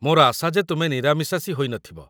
ମୋର ଆଶା ଯେ ତୁମେ ନିରାମିଷାଶୀ ହୋଇନଥିବ?